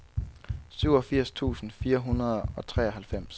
syvogfirs tusind fire hundrede og treoghalvfems